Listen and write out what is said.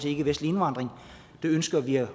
ikkevestlig indvandring det ønsker vi at